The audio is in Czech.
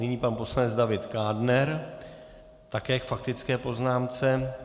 Nyní pan poslanec David Kádner, také k faktické poznámce.